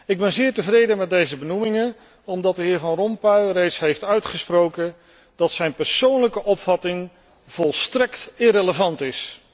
Ik ben zeer tevreden met deze benoemingen, omdat de heer Van Rompuy reeds heeft uitgesproken dat zijn persoonlijke opvatting volstrekt irrelevant is.